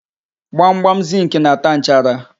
Gbamgbam zịnkị na-ata nchara.